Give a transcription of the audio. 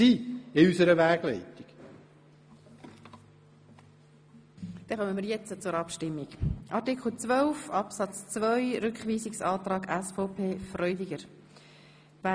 Somit kommen wir zur Abstimmung über den Rückweisungsantrag SVP Freudiger zu Artikel 12 Absatz 2.